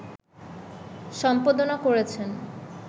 সম্পাদনা করেছেন